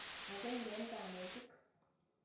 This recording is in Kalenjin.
Akenge eng' kanetik.